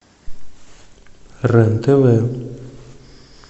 рен тв